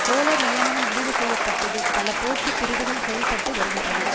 கோலர் நியமனம் முடிவு செய்ய பட்டது பல போட்டி பிரிவுகள் செயல்பட்டு வருகின்றன